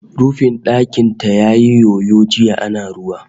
Rufin ɗakin ta yayi yoyo jiya ana ruwa